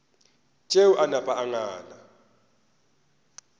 tšeo a napa a ngala